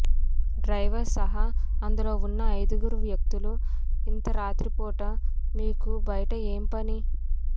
driver సహా అందులో ఉన్న ఐదుగురు వ్యక్తులు ఇంత రాత్రి పూట మీకు బయట ఏం పని